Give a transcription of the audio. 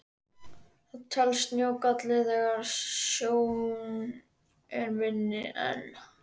Það telst sjóngalli þegar sjón er minni en